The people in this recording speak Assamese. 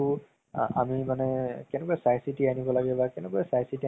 আছিলে, মানে ভাল লাগিল । বিৰাতে ভাল লাগিল চাই কিনে মানে বহুত দিনৰ পাছত